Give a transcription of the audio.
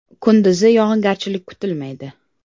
Kunduzi yog‘ingarchilik kutilmaydi.